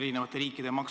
Aitäh, austatud juhataja!